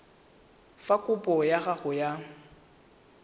fa kopo ya gago ya